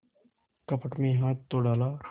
कपट में हाथ तो डाला